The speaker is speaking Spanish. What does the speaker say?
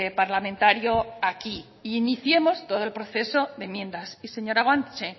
parlamentario aquí e iniciemos todo el proceso de enmiendas y señora guanche